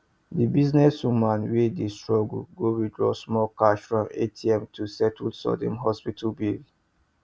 the business woman wey dey struggle go withdraw small cash from atm to settle sudden hospital bill